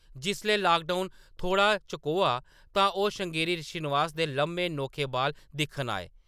जिसलै लाकडाउन थोह्‌ड़ा चकोआ, तां ओह्‌‌ श्रृंगेरी श्रीनिवास दे लम्मे, नोखे बाल दिक्खन आए ।